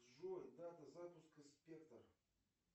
джой дата запуска спектр